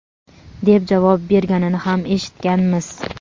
deb javob berganini ham eshitganmiz.